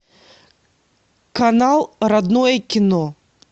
канал родное кино